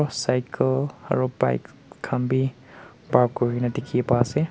cycle aro bike khan bhi park kurina dekhi pa asey.